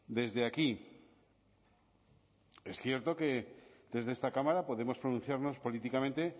desde aquí es cierto que desde esta cámara podemos pronunciarnos políticamente